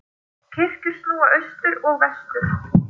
Kirkjur snúa austur og vestur.